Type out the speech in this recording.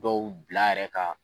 Dɔw bila a yɛrɛ kan.